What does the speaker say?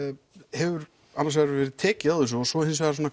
hefur annars vegar verið tekið á þessu og svo hins vegar